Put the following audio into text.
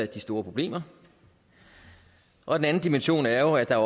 de store problemer og den anden dimension er jo at der